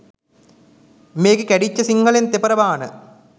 මේකෙ කැඩිච්ච සිංහලෙන් තෙපර බාන